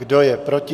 Kdo je proti?